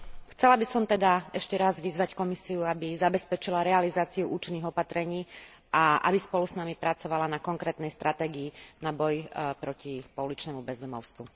Chcela by som teda ešte raz vyzvať Komisiu, aby zabezpečila realizáciu účinných opatrení a aby spolu s nami pracovala na konkrétnej stratégii na boj proti pouličnému bezdomovstvu.